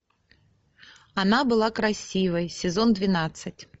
она была красивой сезон двенадцать